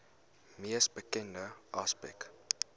mees bekende aspek